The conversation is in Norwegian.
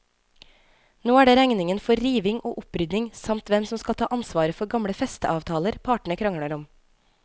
Nå er det regningen for riving og opprydding samt hvem som skal ta ansvaret for gamle festeavtaler partene krangler om.